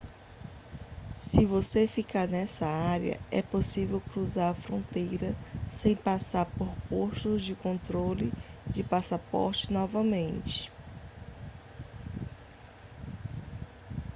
se você ficar nessa área é possível cruzar a fronteira sem passar por postos de controle de passaporte novamente